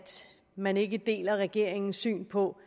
man ikke deler regeringens syn på